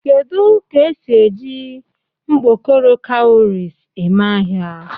Kedu ka esi eji mkpokoro kawurisi eme ahia?